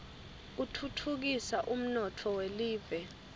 kutfutfukisa umnotfo welive